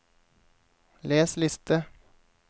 les liste